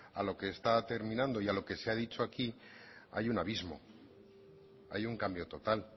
a lo que está terminando y a lo que se ha dicho aquí hay un abismo hay un cambio total